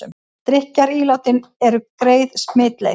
Drykkjarílátin eru greið smitleið